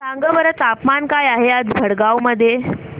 सांगा बरं तापमान काय आहे आज भडगांव मध्ये